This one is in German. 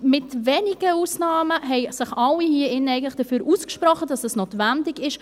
Mit wenigen Ausnahmen haben sich alle hier in diesem Saal eigentlich dafür ausgesprochen, dass es notwendig ist.